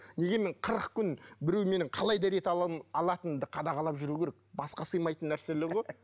неге мен қырық күн біреу менің қалай дәрет алатынымды қадағалап жүру керек басқа сыймайтын нәрселер ғой